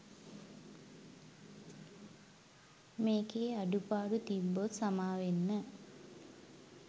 මේකෙ අඩුපාඩු තිබ්බොත් සාමවෙන්න